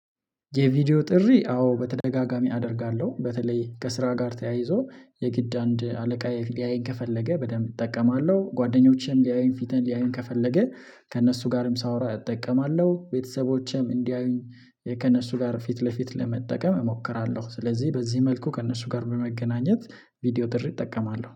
የቪዲዮ ጥሪ አዎ በተደጋጋሚ አደርጋለሁ በተለይ ከስራ ጋር ተያይዞ የግድ አንድ አለቃየ ሊያየኝ ከፈለገ በደንብ እጠቀማለሁ፤ ጓደኞቼም ሊያየን ፊቴን ሊያየን ከፈለገ ከእነሱ ጋርም ሳወራ እጠቀማለሁ ቤተሰቦቼም እንዲያዩኝ ከእነሱ ጋር ፊት ለፊት ለመጠቀም እሞክራለሁ ስለዚህ በዚህ መልኩ ከእነሱ ጋር በመገናኘት ቪዲዮ ትርጉም እጠቀማለሁ።